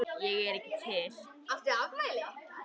Ég er ekki til.